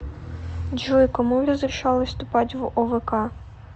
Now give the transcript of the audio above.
джой кому разрешалось вступать в овк